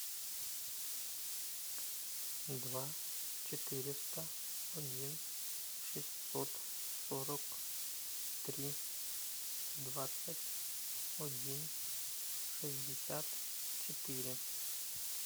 два четыреста один шестьсот сорок три двадцать один шестьдесят четыре